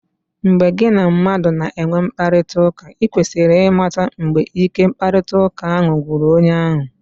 Mgbe gị na mmadụ na-enwe mkparịtaụka, i kwesịrị ịmata mgbe ike mkparịtaụka ahụ gwụrụ onye ahụ.